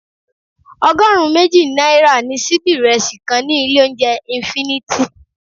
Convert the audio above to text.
Ọgọrun méjì náírà ni síbí ìrẹsì kan ní ilé oúnjẹ infinity.